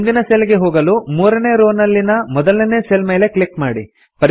ಮುಂದಿನ ಸೆಲ್ ಗೆ ಹೊಗಲು ಮೂರನೇ ರೋ ನಲ್ಲಿನ ಮೊದಲನೇ ಸೆಲ್ ಮೇಲೆ ಕ್ಲಿಕ್ ಮಾಡಿ